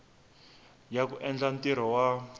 ya ku endla ntirho wa